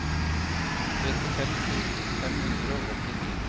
trettifem tusen fem hundre og åttini